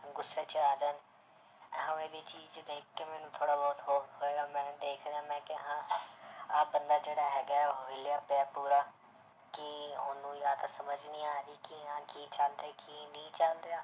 ਗੁਸੇ 'ਚ ਆ ਜਾਣ ਇਵੇਂ ਦੀ ਚੀਜ਼ ਦੇਖ ਕੇ ਮੈਨੂੰ ਥੋੜ੍ਹਾ ਬਹੁਤ ਮੈਂ ਕਿਹਾ ਹਾਂ ਆਹ ਬੰਦਾ ਜਿਹੜਾ ਹੈਗਾ ਹੈ ਉਹ ਹਿੱਲਿਆ ਪਿਆ ਪੂਰਾ ਕਿ ਉਹਨੂੰ ਜਾਂ ਤਾਂ ਸਮਝ ਨੀ ਆ ਰਹੀ ਕਿ ਹਾਂ ਕੀ ਚੱਲ ਰਿਹਾ ਕੀ ਨਹੀਂ ਚੱਲ ਰਿਹਾ।